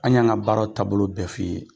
An y'an ka baara taabolo bɛɛ f'i ye